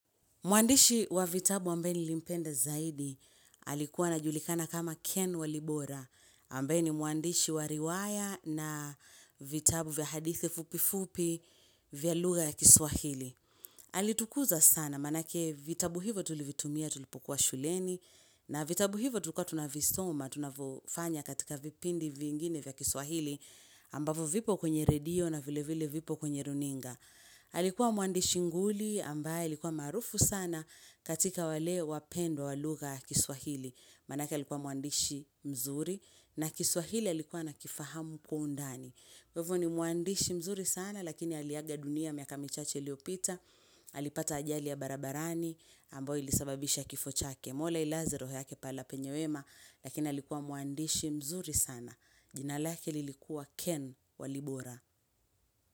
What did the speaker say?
Mwandishi wa vitabu ambaye nilimpenda zaidi, alikuwa anajulikana kama Ken walibora, ambaye mwandishi wa riwaya na vitabu vya hadithi fupi fupi vya lugha ya kiswahili. Alitukuza sana, maanake vitabu hivo tulivitumia tulipokuwa shuleni, na vitabu hivo tulikua tunavisoma, tunavyofanya katika vipindi vingine vya kiswahili, ambavyo vipo kwenye radio na vile vile vipo kwenye runinga. Alikuwa mwandishi nguli ambaye alikuwa maarufu sana katika wale wapendwa waluga kiswahili Manake likuwa mwandishi mzuri na kiswahili alikuwa akifahamu kwa undani kwa hivo ni mwandishi mzuri sana lakini aliaga dunia miaka michache iliopita alipata ajali ya barabarani ambayo ilisababisha kifo chake mola ailaze roho yake pahala penye wema Lakini alikuwa mwandishi mzuri sana jina lake lilikuwa ken walibora.